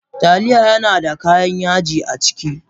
Taliya yana da kayan yaji a ciki.